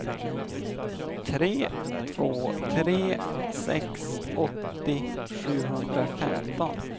tre två tre sex åttio sjuhundrafemton